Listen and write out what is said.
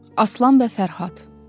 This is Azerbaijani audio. Aslan və Fərhad.